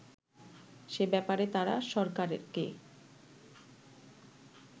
সে ব্যাপারে তারা সরকারকে